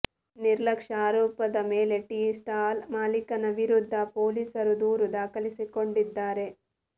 ನಿರ್ಲಕ್ಷ್ಯ ಆರೋಪದ ಮೇಲೆ ಟೀ ಸ್ಟಾಲ್ ಮಾಲೀಕನ ವಿರುದ್ಧ ಪೊಲೀಸರು ದೂರು ದಾಖಲಿಸಿಕೊಂಡಿದ್ದಾರೆ